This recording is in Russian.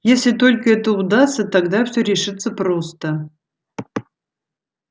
если только это удастся тогда всё решится просто